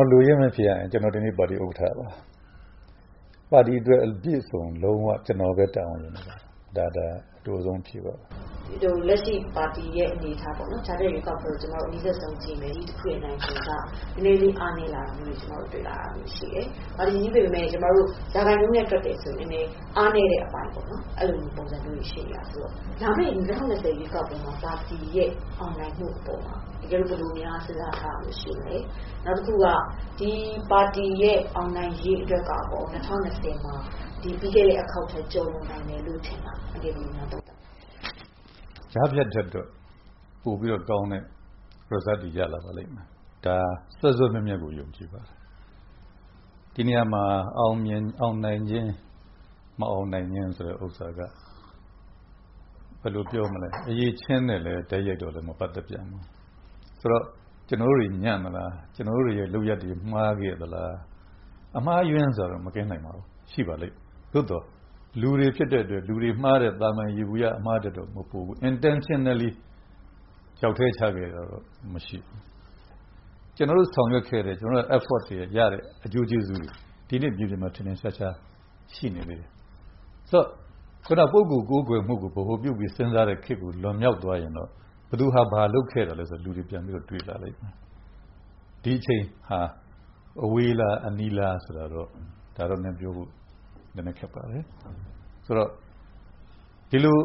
ော်လိုရင်းပဲဖြေရရင် ကျနော်ဒီနေ့ ပါတီဥက္ကဋ္ဌပါ။ ပါတီအတွက် အပြည့်အစုံလုံး၀ ကျနော်ပဲ တာဝန်ယူနေပါတယ် ဒါအတိုဆုံးဖြေတာပါ။ လက်ရှိပါတီရဲ့အနေအထားပေါ့နော် ကြားဖြတ်ရွေးကောက်ပွဲကို အနီးဆုံးကြည့်မယ်ဆိုရင် ဒီတချိန်မှာ နည်းနည်းလေးအားနည်းလာတာကို ကျမတို့တွေ့တယ်။ ပါတီကြီးဆိုပေမယ့် ရာခိုင်နှုန်းနဲ့ တွက်မယ်ဆိုရင် အားနည်းတဲ့အပိုင်းပေါ့နော် အဲလိုမျိုးပုံစံမျိုးတွေ ရှိနေတာဆိုတော့ လာမယ့် ၂၀၂၀ ရွေးကောက်ပွဲမှာ ပါတီရဲ့ အောင်နိုင်မှုကို ဘယ်လိုမျိုးစဉ်းစားထားတာမျိုးရှိပါသလဲ။ နောက်တခုက ဒီပါတီရဲ့အောင်နိုင်ရေးအတွက်က ၂၀၂၀ မှာ ဒီပြီးခဲ့တဲ့အခေါက်ထက်ကျော် နိုင်မယ်လို့ ထင်သလား ဘယ်လိုများသုံးသပ်ပါသလဲ။ ကြားဖြတ်ရွေးကောက်ပွဲအတွက် ပိုပြီးတော့ ကောင်းတဲ့ Result တွေရလာပါလိမ့်မယ်။ ဒါစွဲစွဲမြဲမြဲကို ယုံကြည်ပါတယ်။ ဒီနေရာမှာ အောင်နိုင်ခြင်း၊ မအောင်နိုင်ခြင်းဆိုတဲ့ဥစ္စာက အရည်အချင်းနဲ့လည်း တိုက်ရိုက်မပတ်သက်ပြန်ပါဘူး။ ဆိုတော့ ကျနော်တို့တွေညံ့သလား၊ ကျနော်တို့လုပ်ရပ်တွေမှားခဲ့သလား။ အမှားအယွင်းဆိုတာကတော့ မကင်းနိုင်ပါဘူး။ ရှိပါလိမ့်မယ် သို့သော် လူတွေမှားတဲ့အတွက် သာမန် ယေဘုယျအမှားထက်တော့မပိုပါဘူး Intentionally ချောက်ထဲချခဲ့တာကတော့ မရှိပါဘူး။ ကျနော်တို့ဆောင်ရွက်ခဲ့တဲ့ ကျနော်တို့ Efforts တွေက ရတဲ့ အကျိုးကျေးဇူးတွေ ဒီနေ့ ထင်ထင်ရှားရှားရှိနေသေးတယ်။ ဆိုတော့ ပုဂ္ဂိုလ်ကိုးကွယ်မှုကို ဗဟိုပြုပြီး စဉ်းစားတဲ့ခေတ်ကို လွန်မြောက်သွားရင်တော့ ဘယ်သူဟာ ဘာလုပ်ခဲ့သလဲဆိုတာကို လူတွေက ပြန်ပြီးတော့တွေးလာလိမ့်မယ်။ ဒီအချိန်ဟာ အဝေးလား၊ အနီးလားဆိုတာကတော့ ဒါကတော့ နည်းနည်းပြောဖို့ ခက်ပါတယ်။ ဆိုတော့ ဒီလို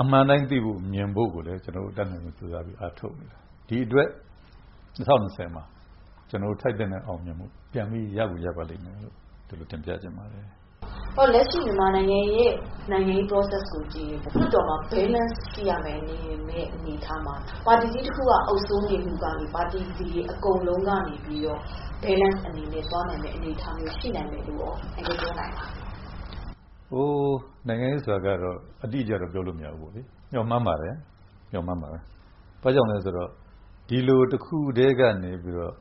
အမှန်အတိုင်းသိဖို့ မြင်ဖို့ကိုလည်း ကျနော်တို့ အတတ်နိုင်ဆုံးကြိုးစားအားထုတ်နေပါတယ်။ ဒီအတွက် ၂၀၂၀မှာ ကျနော်တို့ ထိုက်သင့်တဲ့အောင်မြင်မှု ပြန်ပြီးရပါလိမ့်မယ်လို့ တင်ပြချင်ပါတယ်။ လက်ရှိမြန်မာနိုင်ငံရဲ့ နိုင်ငံရေး Process ကိုကြည့်ရင် လွှတ်တော်မှာ Balance ရှိရမယ့်အနေအထားမှာ ပါတီကြီးတခုက အုပ်စိုးနေမှုကနေ ပါတီအကုန်လုံးကနေပြီးတော့ Balance အနေနဲ့ သွားနိုင်မယ့်အနေအထားမျိုးရှိနိုင်မယ်လို့ အန်ကယ်ပြောနိုင်ပါသလား။ နိုင်ငံရေးဆိုတာကတော့ အတိအကျတော့ ပြောလို့မရဘူးပေါ့နော်၊ ကျနော်တို့ကတော့ မျှော်မှန်းပါတယ်။ ဘာ့ကြောင့်လဲဆိုတော့ ဒီလိုတခုတည်းကနေပြီးတော့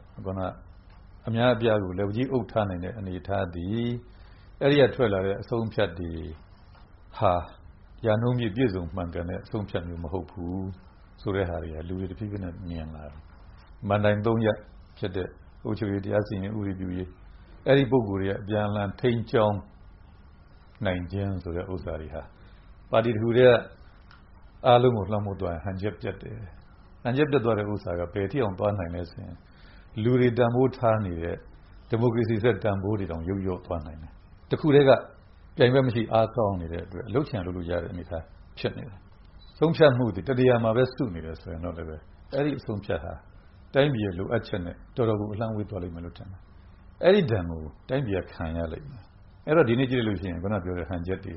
အများအပြားကို လက်ဝါးကြီးအုပ်ထားတဲ့ အနေအထားသည် အဲဒီကထွက်လာတဲ့ အဆုံးအဖြတ်တွေဟာ ရာနှုန်းပြည့် ပြည့်စုံမှန်ကန်တဲ့ ဆုံးဖြတ်မှုမျိုးမဟုတ်ဘူးဆိုတာတွေက လူတွေတဖြေးဖြေးမြင်လာကြပြီ။ မဏ္ဍိင် ၃ ရပ်ဖြစ်တဲ့ အုပ်ချုပ်ရေး၊ တရားစီရင်ရေး ၊ ဥပဒေပြုရေး အဲဒီပုဂ္ဂိုလ်တွေက အပြန်အလှန်ထိန်းကျောင်း နိုင်ခြင်းဆိုတာက ပါတီတခုတည်းက အားလုံးကိုလွှမ်းမိုးသွားရင် ဟန်ချက်ပျက်တယ်။ ဟန်ချက်ပျက်သွားတဲ့ဟာက ဘယ်အထိတောင်သွားနိုင်သလဲဆိုရင် လူတွေတန်ဖိုးထားနေတဲ့ ဒီမိုကရေစီဆိုတဲ့ တန်ဖိုးတွေတောင်လျော့သွားနိုင်တယ်။ တခုတည်းက ပြိုင်ဘက်မရှိအားကောင်းနေတဲ့အတွက်ကြောင့် လုပ်ချင်ရာလုပ်လို့ ရတဲ့အနေအထားဖြစ်နေတယ်။ ဆုံးဖြတ်မှုသည် ၁ နေရာမှာပဲ စုနေတယ်ဆိုရင် အဲဒီအဆုံးအဖြတ်ဟာ တိုင်းပြည်လိုအပ်ချက်နဲ့ တော်တော်ကို အလှမ်းဝေးသွားမယ်လို့ထင်တယ်။ အဲဒီဒဏ်ကို တိုင်းပြည်ကခံရလိမ့်မယ်။ အဲဒီတော့ ဒီနေ့ကြည့်လို့ရှိရင် ခုနပြောတဲ့ ဟန်ချက်တွေ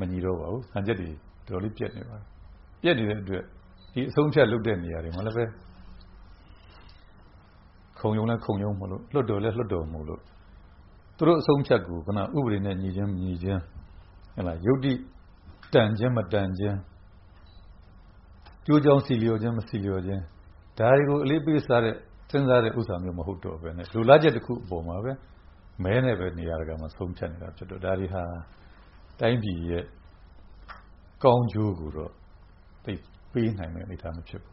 မညီတော့ပါဘူး။ ဟန်ချက်တွေတော်တေ်ာလေးပျက်သွားပြီ။ ပျက်နေတဲ့အတွက် ဒီအဆုံးအဖြတ်လုပ်တဲ့နေရာတွေမှာလည်းပဲ ၊ ခုံရုံးလည်း ခုံရုံးမို့လို့ ၊ လွှတ်တော်လည်း လွှတ်တော်မို့လို့ သူတို့အဆုံးအဖြတ်ကို ဥပဒေနဲ့ညီချင်း မညီချင်း ၊ ယုတ္တိ တန်ခြင်းမတန်ခြင်း၊ကျိုးကြောင်းဆီလျော်ခြင်း မဆီလျော်ခြင်း ဒါတွေကို အလေးပေးစဉ်းစားတာမျိုး မဟုတ်တော့ပဲနဲ့ လိုလားချက်တခုအပေါ်မှာပဲ မဲနဲ့ပဲ နေရာတကာဆုံးဖြတ်တာဖြစ်တဲ့အတွက် ဒါတွေဟာ တိုင်းပြည်ကောင်းကျိုးကိုတော့ ပေးနိုင်တဲ့အနေအထားမဖြစ်ဘူး